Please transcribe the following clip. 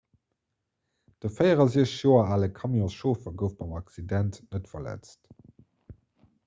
de 64 joer ale camionschauffer gouf beim accident net verletzt